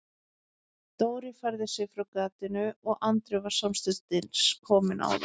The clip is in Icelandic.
Dóri færði sig frá gatinu og Andri var samstundis kominn á það.